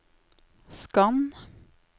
skann